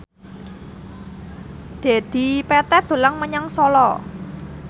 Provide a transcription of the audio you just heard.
Dedi Petet dolan menyang Solo